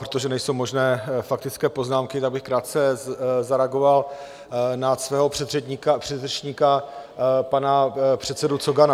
Protože nejsou možné faktické poznámky, tak bych krátce zareagoval na svého předřečníka, pana předsedu Cogana.